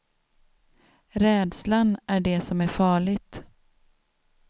Rädslan är det som är farligt.